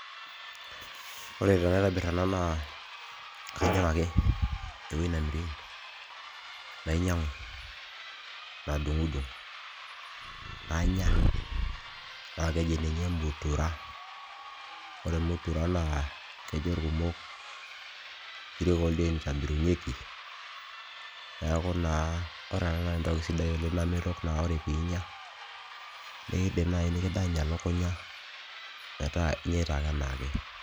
Ore tenaitbir ena naa kajing' ake ewoi nemiri nainyang'u, nadung'dung', nanya naake aji ninye mutura. Ore mutura kejo irkumok inkirik oldiain itobirieki, neeku naa ore ena naa entoki sidai namelok naa ore piinya nekidim nai nekidany elukunya metaa inyita ake enaake.